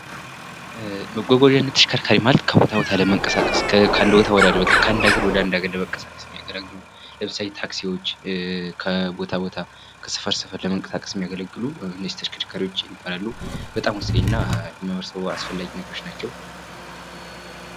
መጓጓዣ እና ተሽከርካሪ ማለት ከቦታ ቦታ ለመንቀሳቀስ ከአንድ ቦታ ወደ አንድ ቦታ ከአንድ አገር ወደ አንድ ሀገር ለመንቅቀሳቀስ የሚያገለግሉ ለምሳሌ ታክሲዎች ከቦታ ቦታ ከሠፈር ሠፈር ለመንቀሳቀስ የሚያገለገሉ ተሽከርካሪዎች ይባላሉ። በጣም ወሳኝ ና አለመመዝገቡ አስፈላጊ ነገሮች ናቸው።